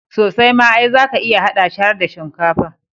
Sosai ma, ai zaka iya haɗa shi har da shinkafa.